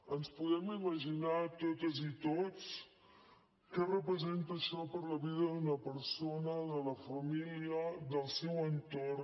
ens podem imaginar totes i tots què representa això per a la vida d’una persona de la família del seu entorn